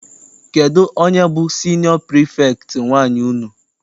Kedụ onye bụ siniọ pirifektị nwaanyị unu?